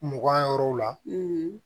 Mugan yɔrɔw la